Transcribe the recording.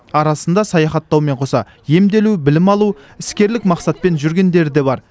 арасында саяхаттаумен қоса емделу білім алу іскерлік мақсатпен жүргендері де бар